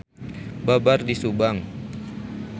Babar di Subang.